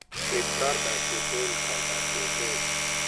Ket kar dak e otel kar dak e otel.